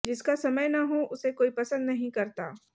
जिसका समय न हो उसे कोई पसंद नहीं करता